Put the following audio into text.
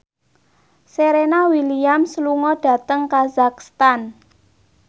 Serena Williams lunga dhateng kazakhstan